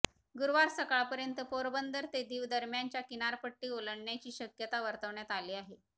गुरुवार सकाळपर्यंत पोरबंदर ते दीव दरम्यानच्या किनारपट्टी ओलांडण्याची शक्यता वर्तवण्यात आली आहे